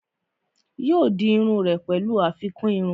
yóò di iru rẹ̀ pẹ̀lú àfikún irun